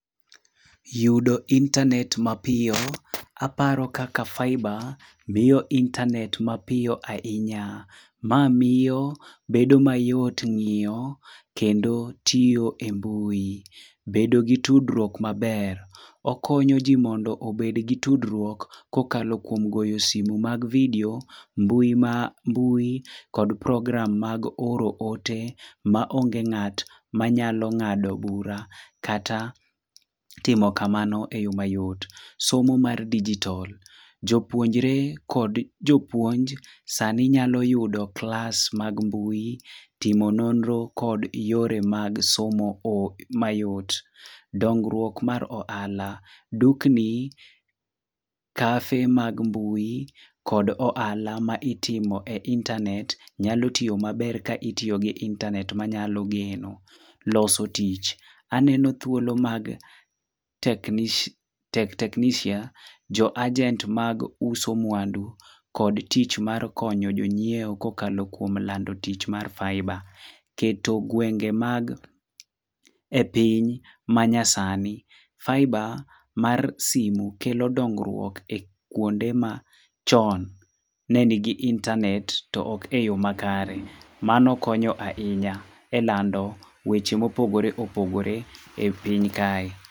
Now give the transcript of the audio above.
Yudo intanet mapiyo. Aparo kaka faiba miyo intanet mapiyo ahinya. Ma miyo bedo mayot ng'iyo, kendo tiyo e mbui. Bedo gi tudruok maber. Okonyo ji mondo obed gi tudruok kokalo kuom goyo simu mag video, mbui ma mbui, kod program mag oro ote ma onge ng'at manyalo ng'ado bura, kata timo kamano eyo mayot. Somo mar dijitol. Jopuonjre kod jopuonj sani nyalo yudo klas mag mbui, timo nonro kod yore mag somo o mayot. Dongruok mar ohala. Dukni, kafe mag mbui kod ohala ma itimo e intanet nyalo tiyo maber ka itiyo gi intanet manyalo geno. Loso tich. Aneno thuolo mag teknish technician jo agent mag uso mwandu kod tich mar konyo jonyiewo kokalo kuom lando tich mar faiba. Keto gwenge mag e piny manyasani. Faiba mar simu kelo dongruok e kuonde ma chon ne nigi intanet to ok e yo makare. Mano konyo ahinya elando weche mopogore opogore e piny kae.